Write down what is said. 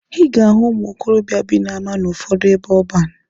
Ị ga-ahụ ụmụ okorobịa bi n'ama n'ụfọdụ ebe ọban.